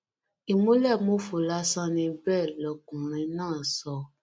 ìmùlẹmófo lásán ni bẹẹ lọkùnrin náà sọ